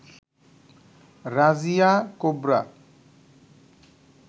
Razia cobra